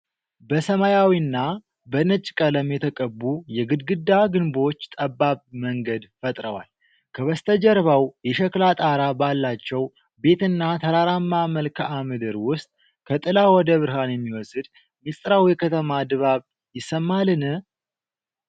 በሰማያዊና በነጭ ቀለም የተቀቡ የግድግዳ ግንቦች ጠባብ መንገድ ፈጥረዋል፤ ከበስተጀርባው የሸክላ ጣራ ባላቸው ቤትና ተራራማ መልክዓ ምድር ውስጥ ከጥላ ወደ ብርሃን የሚወስድ ሚስጥራዊ የከተማ ድባብ ይሰማልን?